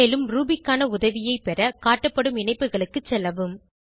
மேலும் ரூபி க்கான உதவியை பெற காட்டப்படும் இணைப்புகளுக்கு செல்லவும்